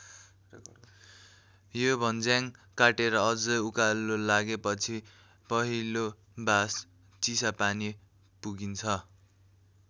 यो भञ्ज्याङ काटेर अझै उकालो लागेपछि पहिलो बास चिसापानी पुगिन्छ।